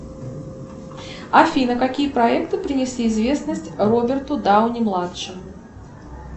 афина какие проекты принесли известность роберту дауни младшему